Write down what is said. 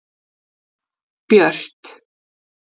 Björt